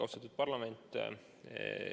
Austatud parlament!